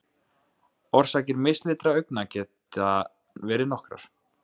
Orsakir mislitra augna geta verið nokkrar.